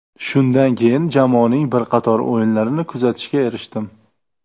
Shundan keyin jamoaning bir qator o‘yinlarini kuzatishga erishdim.